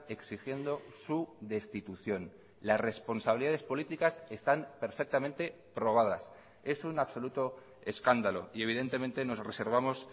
exigiendo su destitución las responsabilidades políticas están perfectamente probadas es un absoluto escándalo y evidentemente nos reservamos